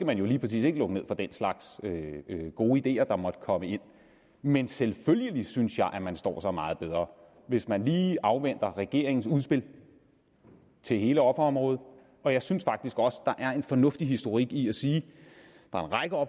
man jo lige præcis ikke lukke ned for den slags gode ideer der måtte komme men selvfølgelig synes jeg at man står sig meget bedre hvis man lige afventer regeringens udspil til hele offerområdet og jeg synes faktisk også der er en fornuftig historik i at sige